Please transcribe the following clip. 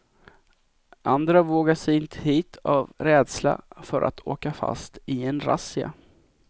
Andra vågar sig inte hit av rädsla för att åka fast i en razzia.